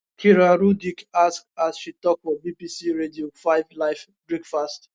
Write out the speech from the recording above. kira rudik ask as she tok for bbc radio 5 live breakfast